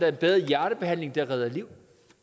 er bedre hjertebehandling og det redder liv